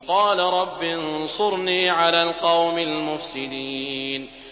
قَالَ رَبِّ انصُرْنِي عَلَى الْقَوْمِ الْمُفْسِدِينَ